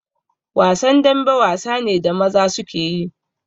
Wasan dambe wasa ne da maza suke yi